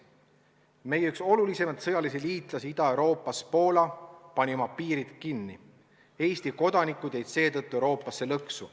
Üks meie olulisimaid sõjalisi liitlasi Ida-Euroopas – Poola – pani oma piirid kinni, Eesti kodanikud jäid seetõttu mujale Euroopasse lõksu.